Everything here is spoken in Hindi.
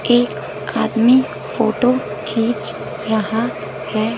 एक आदमी फोटो खींच रहा है।